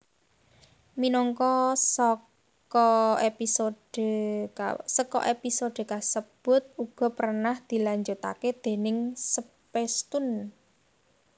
Minangka saka episode kasebut uga pernah dilanjutaké déning Spacetoon